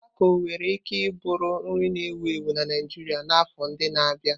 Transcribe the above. Tako nwere ike bụrụ nri na-ewu ewu na Naijiria n'afọ ndị na-abịa.